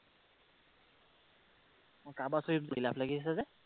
অ তাৰপাছত এইটো বিলাপ লাগি আছে যে?